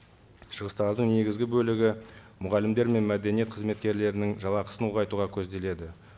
шығыстардың негізгі бөлігі мұғалімдер мен мәдениет қызметкерлерінің жалақысын ұлғайтуға көзделеді